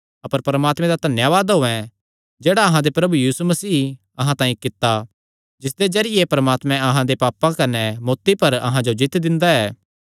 अपर परमात्मे दा धन्यावाद होयैं जेह्ड़ा अहां दे प्रभु यीशु मसीयें अहां तांई कित्ता जिसदे जरिये परमात्मा अहां दे पापां कने मौत्ती पर अहां जो जीत्त दिंदा ऐ